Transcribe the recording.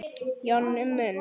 Jonni minn!